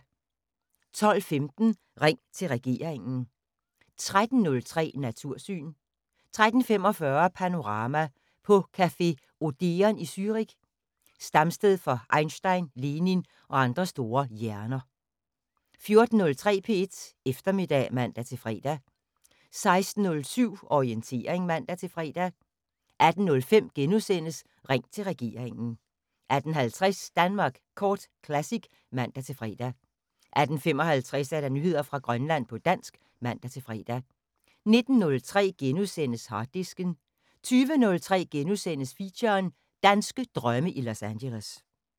12:15: Ring til regeringen 13:03: Natursyn 13:45: Panorama: På café Odeon i Zürich, stamsted for Einstein, Lenin og andre store hjerner 14:03: P1 Eftermiddag (man-fre) 16:07: Orientering (man-fre) 18:05: Ring til regeringen * 18:50: Danmark Kort Classic (man-fre) 18:55: Nyheder fra Grønland på dansk (man-fre) 19:03: Harddisken * 20:03: Feature: Danske drømme i Los Angeles *